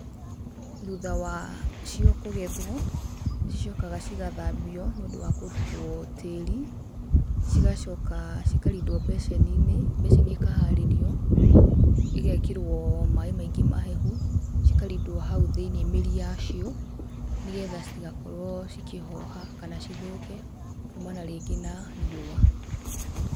Thutha wacio kũgetwo, nĩcicokaga cigathambio, nĩũndũ wa kũrutwo tĩri, cigacoka cikarindwo mbeceni-inĩ, mbeceni ikaharĩrio, ĩgekĩrwo maĩ maingĩ mahehu, cikarindwo hau thĩinĩ mĩri yacio, nĩgetha citigakorwo cikĩhoha kana cithũke kuma na rĩngĩ riũa.